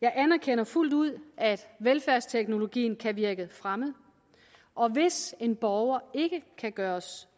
jeg anerkender fuldt ud at velfærdsteknologien kan virke fremmed og hvis en borger ikke kan gøres